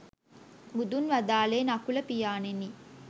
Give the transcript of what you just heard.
බුදුන් වදාළේ නකුල පියාණෙනි